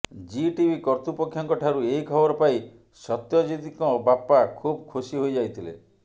G TV କର୍ତ୍ତୃପକ୍ଷଙ୍କ ଠାରୁ ଏହି ଖବର ପାଇ ସତ୍ୟଜିତଙ୍କ ବାପା ଖୁବ୍ ଖୁସି ହୋଇଯାଇଥିଲେ